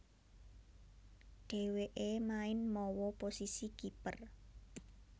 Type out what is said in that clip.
Dhèwèké main mawa posisi kiper